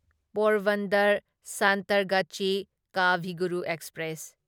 Porbandar Santragachi Kavi Guru express